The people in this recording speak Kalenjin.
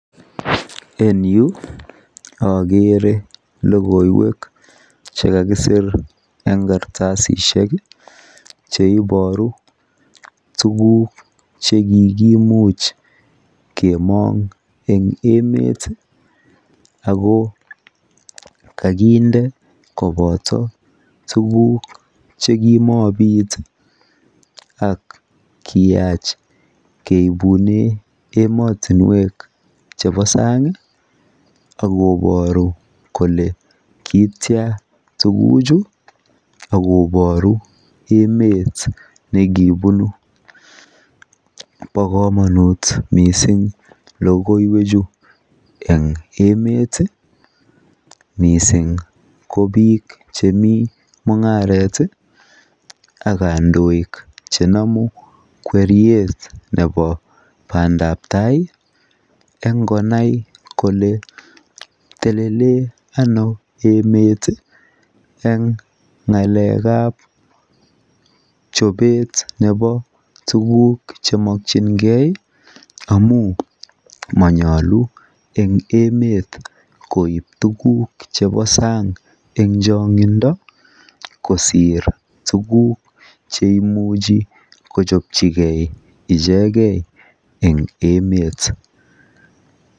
En yuu okere lokoiwek chekakisir en kartasisiek cheiboru tukuk chekikimuch kemong en emet tii ako kakinde kopoto tukuk chemomii ak kiyach keibune emotunwek chebo sangi ak koboru kole kityan tukuk chuu ak koboru emet nekibunu. Bo komonut missing lokoiwek chuu en emeti missing ko bik chemii mungaret tii ak kondoik chenomu kweriet nebo pandap tai en konai kole telelen Ono emet tii en ngalekab chobet nebo tukuk chemokingee amun monyolu en emet koib tukul chebo sang en chongindo kosir tukuk cheimuchi kochopchigee icheke en emet